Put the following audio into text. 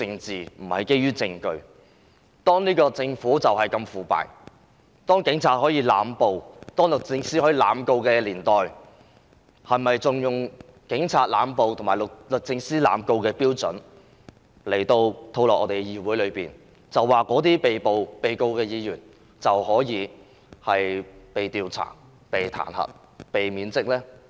在我們的政府如此腐敗、警方濫捕、律政司濫告的情況下，我們是否仍要將這種警方濫捕和律政司濫告的標準套用到議會上，對被控告和被捕的議員作出調查、彈劾及免職呢？